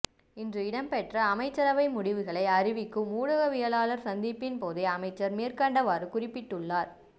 இன்று இடம்பெற்ற அமைச்சரவை முடிவுகளை அறிவிக்கும் ஊடகவியலாளர் சந்திப்பின்போதே அமைச்சர் மேற்கண்டவாறு குறிப்பிட்டுள்ளார்